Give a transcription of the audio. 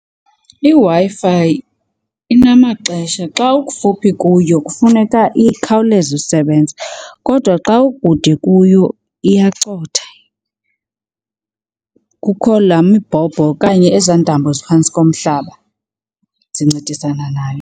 IWi-Fi inamaxesha. Xa ukufuphi kuyo kufuneka ikhawuleze usebenza kodwa xa ukude kuyo iyacotha. Kukho laa mibhobho okanye ezaa ntambo ziphantsi komhlaba zincedisana nayo.